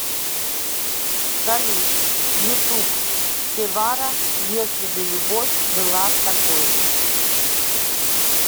салют ютуб севара если бы любовь была такой